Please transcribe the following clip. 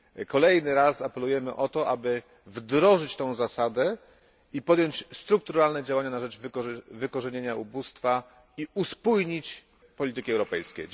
Kolejny raz apelujemy o to, aby wdrożyć tę zasadę i podjąć strukturalne działania na rzecz wykorzenienia ubóstwa oraz uspójnić polityki europejskie.